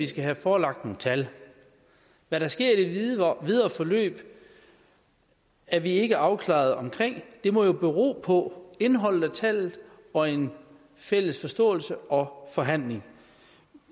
skal have forelagt nogle tal hvad der sker i det videre forløb er vi ikke afklaret om det må jo bero på tallet og en fælles forståelse og forhandling